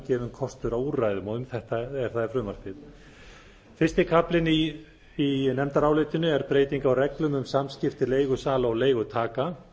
gefinn kostur á úrræðum og um þetta frumvarpið fyrsti kaflinn í nefndarálitinu er breyting á reglum um samskipti leigusala og leigutaka